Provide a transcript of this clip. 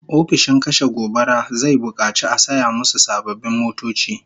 Ofishin kashe gobara zai bukaci a saya musu sababbin motoci